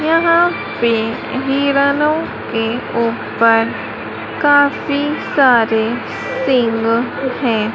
यहां पे हिरनो के ऊपर काफी सारे सिंघ है।